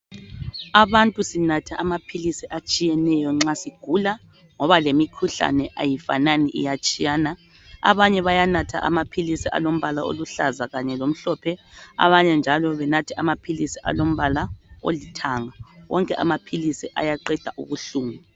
Abantu sinatha amaphilisi atshiyeneyo nxa sigula ngoba lemikhuhlane ayifanani iyatshiyana abanye bayanatha amaphilisi alombala oluhlaza kanye lomhlophe abanye njalo banathe amaphilisi alombala olithanga wonke amaphilisi ayaqeda ubuhlungu.